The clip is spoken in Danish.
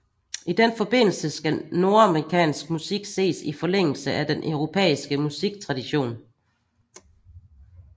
I den forbindelse skal nordamerikansk musik ses i forlængelse af den europæiske musiktradition